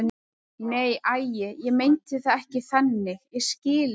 Nei, æi, ég meinti það ekki þannig, ég skil ekki.